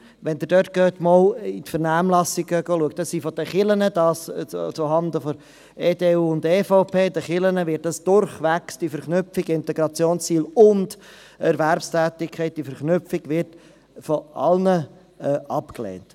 Wenn Sie einmal auf die Vernehmlassung zurückschauen, wurde von den Kirchen – dies zuhanden der EDU und der EVP – die Verknüpfung von Integrationszielen und Erwerbstätigkeit von allen abgelehnt.